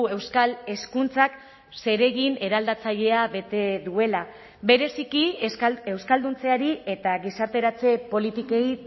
euskal hezkuntzak zeregin eraldatzailea bete duela bereziki euskalduntzeari eta gizarteratze politikei